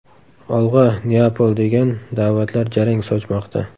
Olg‘a, Neapol!” degan da’vatlar jarang sochmoqda.